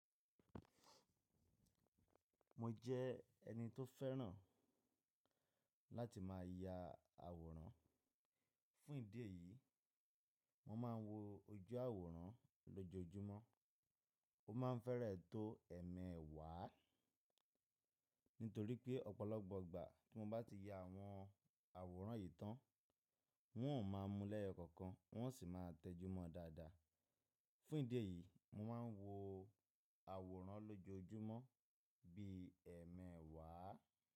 Mo jẹ́ ẹni tó fẹ́ràn láti má ya àwòrán. Fún ìdí èyí, mo máa ń wo ojú àwòrán lójoojúmọ́. Ó má ń fẹ́rẹ̀ tó ẹ̀mẹ̀wàá, nítorí pé ọ̀pọ̀lọpọ̀ ìgbà tí mo bá ti ya àwọn àwòrán yìí tán, wọn ò má mú lẹ́yẹ́kọ̀kan wọn ò sì má ń tẹjúmọ́ dáadáa. Fún ìdí èyí, mo má ń wo àwòrán lójoojúmọ́ bí ẹ̀mẹ̀wàá.